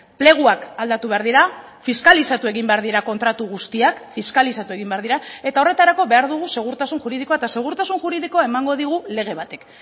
pleguak aldatu behar dira fiskalizatu egin behar dira kontratu guztiak fiskalizatu egin behar dira eta horretarako behar dugu segurtasun juridikoa eta segurtasun juridikoa emango digu lege batek